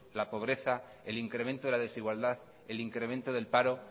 la pobreza el incremento de la desigualdad el incremento del paro